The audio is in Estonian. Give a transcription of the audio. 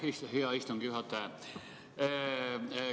Aitäh, hea istungi juhataja!